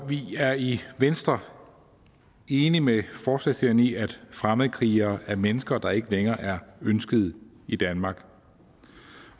vi er i venstre enige med forslagsstillerne i at fremmedkrigere er mennesker der ikke længere er ønsket i danmark